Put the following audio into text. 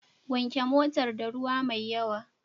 Wanke motar da ruwa mai yawa.